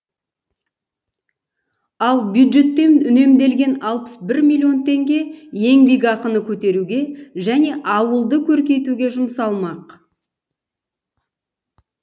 ал бюджеттен үнемделген алпыс бір миллион теңге еңбекақыны көтеруге және ауылды көркейтуге жұмсалмақ